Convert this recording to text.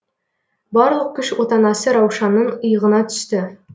барлық күш отанасы раушанның иығына түсті